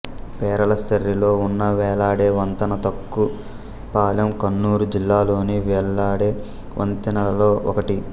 పెరలస్సేరిలో ఉన్న వ్రేలాడే వంతన తూక్కు పాలెం కన్నురు జిల్లాలోని వ్రేలాడే వంతెనలలో ఒకటి